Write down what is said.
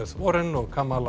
Warren og